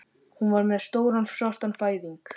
Hún var með stóran svartan fæðing